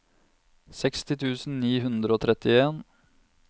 seksti tusen ni hundre og trettien